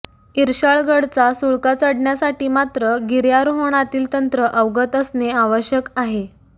इर्शाळगडचा सुळका चढण्यासाठी मात्र गिर्यारोहणातील तंत्र अवगत असणे आवश्यक आहे